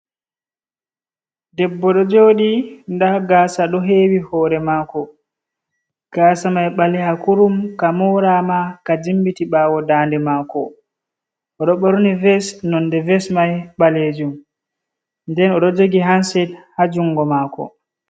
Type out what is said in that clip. Debbo ɗo jooɗi, nda gaasa do hewi hore mako, gaasa mai ɓaleha kurum, ka morama ka jimbiti ɓawo dande mako, o ɗo borni ves nonde ves mai ɓalejuum, nden o ɗo jogi hanset ha jungo mako..